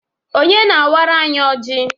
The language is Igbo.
Onye na awara anyi ọji?